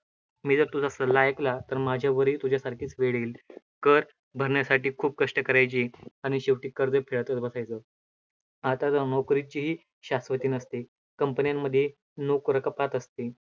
मी जर तुझा सल्ला ऐकला, तर माझ्यावरही तुझ्यासारखीच वेळ येईल, कर भरण्यासाठी खूप कष्ट करायचे आणि शेवटी कर्ज फेडतचं बसायचं, आता तर नोकरीचीही शाश्वती नसते. company मध्ये नोकरं कपात असते.